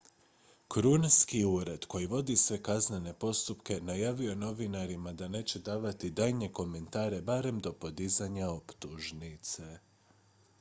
krunski ured koji vodi sve kaznene postupke najavio je novinarima da neće davati daljnje komentare barem do podizanja optužnice